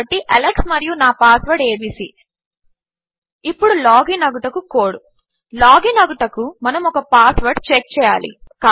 కాబట్టి అలెక్స్ మరియు నా పాస్వర్డ్ ఏబీసీ ఇప్పుడు లాగిన్ అగుటకు కోడ్ లాగిన్ అగుటకు మనము ఒక పాస్వర్డ్ చెక్ చేయాలి